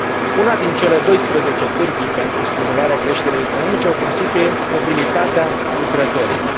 Una dintre cele doisprezece pârghii pentru stimularea creșterii economice o constituie mobilitatea lucrătorilor.